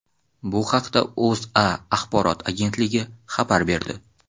Bu haqda O‘zA axborot agentligi xabar berdi .